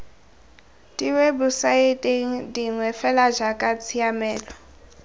diwebosaeteng dingwe fela jaaka tshiamelo